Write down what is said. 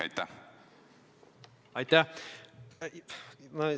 Aitäh!